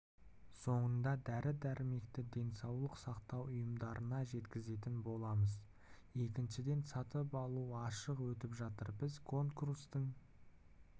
соңында дәрі-дәрмекті денсаулық сақтау ұйымдарына жеткізетін боламыз екіншіден сатып алу ашық өтіп жатыр біз конкурстың